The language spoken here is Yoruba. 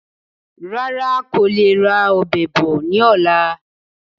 Rárá, ń kó le ra Ọ̀bẹ bọ̀ ni ọ̀la.